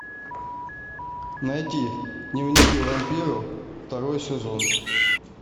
найти дневники вампиров второй сезон